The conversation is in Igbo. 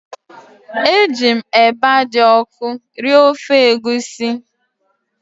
Eji m eba dị ọkụ rie ofe egusi